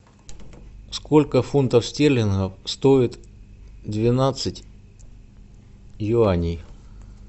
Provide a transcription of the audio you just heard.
сколько фунтов стерлингов стоит двенадцать юаней